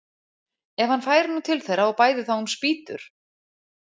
Ef hann færi nú til þeirra og bæði þá um spýtur!